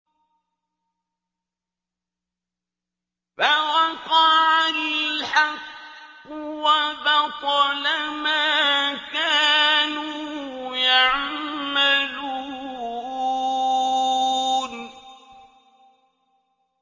فَوَقَعَ الْحَقُّ وَبَطَلَ مَا كَانُوا يَعْمَلُونَ